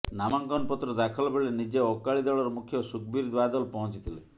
ନାମାଙ୍କନ ପତ୍ର ଦାଖଲ ବେଳେ ନିଜେ ଅକାଳୀ ଦଳର ମୁଖ୍ୟ ସୁଖବୀର ବାଦଲ ପହଁଚି ଥିଲେ